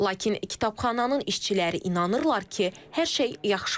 Lakin kitabxananın işçiləri inanırlar ki, hər şey yaxşı olacaq.